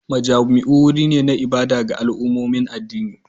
Majami'u wuri ne na ibada ga al'ummomin addini